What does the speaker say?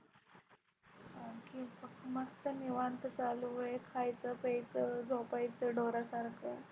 आणखी मस्त निवांत चालू आहे. खायचं प्यायचं झोपायचं ढोरा सारख.